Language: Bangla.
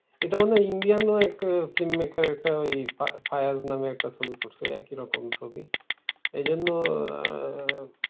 এটা মনে হয় Indian এক film maker একটা ওই ফা~ ফায়ার নামে একটা ছবি করছে একই রকম ছবি। এই জন্য আহ